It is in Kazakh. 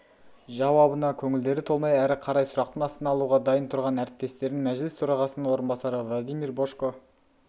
жауабына көңілдері толмай әрі қарай сұрақтың астына алуға дайын тұрған әріптестерін мәжіліс төрағасының орынбасары владимирбожко